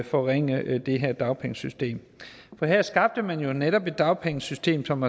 forringe det her dagpengesystem her skabte man jo netop et dagpengesystem som